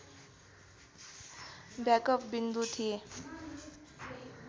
backup विन्दु थिए